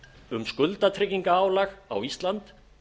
um skuldatryggingarálag á ísland